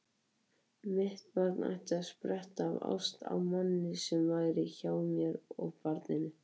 Mitt barn ætti að spretta af ást á manni sem væri hjá mér og barninu.